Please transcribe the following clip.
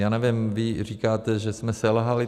Já nevím, vy říkáte, že jsme selhali.